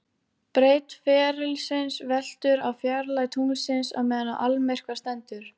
Breidd ferilsins veltur á fjarlægð tunglsins á meðan á almyrkva stendur.